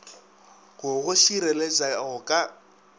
go go šireletša go ka